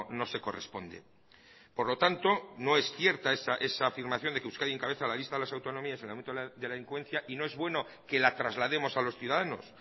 no se corresponde por lo tanto no es cierta esa afirmación de que euskadi encabeza la lista de las autonomías en el ámbito de la delincuencia y no es bueno que la traslademos a los ciudadanos